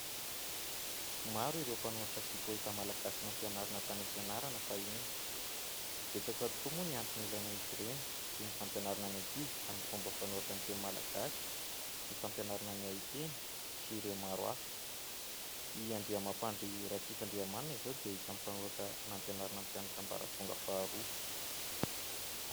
Maro ireo mpanoratra sy poeta malagasy nampianarina tany am-pianarana fahiny. Betsaka tokoa moa ny antony ilaina izy ireny toy ny fampianarana ny ankizy amin'ny fomba fanoratra ny teny malagasy, ny fampianarana ny hay teny sy ireo maro hafa. I Andriamampandry Ratsifandriamanana izao dia isany mpanoratra nampianarana ny mpianatra ambaratonga faharoa.